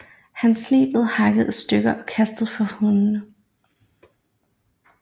Hans lig blev hakket i stykker og kastet for hundene